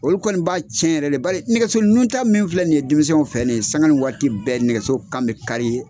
Olu kɔni b'a cɛn yɛrɛ le bari nɛgɛso nu ta min filɛ nin ye denmisɛnw fɛ nin ye sanka ni waati bɛɛ nɛgɛso kan bɛ kari